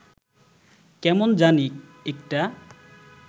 কেমন জানি একটা